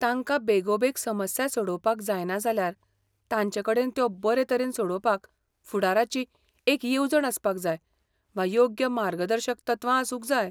तांकां बेगोबेग समस्या सोडोवपाक जायना जाल्यार, तांचेकडेन त्यो बरेतरेन सोडोवपाक फुडाराची एक येवजण आसपाक जाय वा योग्य मार्गदर्शक तत्वां आसूंक जाय.